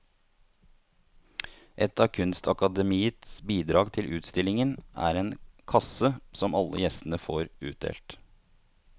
Et av kunstakademiets bidrag til utstillingen er en kasse som alle gjestene får utdelt.